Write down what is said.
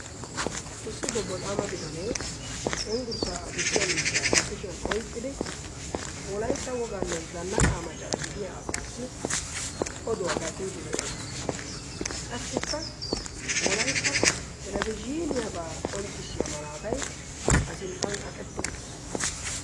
issi bobboxaama bitanee cenggurssaa adussiya miishshaa ba kushiyan oiqqidi wolaitta wogaa nne zannaqaa maccara gidiya asaassi oduwaa gattiiddi de7ees qassikka wolaitta telebiziiniyaabaa qonccissiya malaatai a sinttan kaqetti uttiis